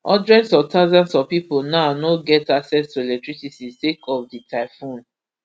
hundreds of thousands of pipo now no get access to electricity sake of di typhoon